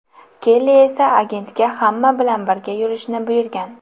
Kelli esa agentga hamma bilan birga yurishni buyurgan.